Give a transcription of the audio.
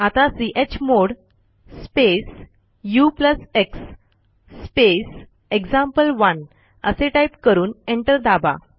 आता chmod space ux space example one असे type करून एंटर दाबा